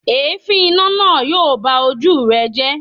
Èéfín iná náà yóò ba ojú rẹ jẹ́.